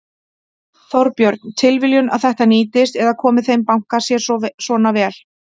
Þorbjörn: Tilviljun að þetta nýtist eða komi þeim banka sér svona vel?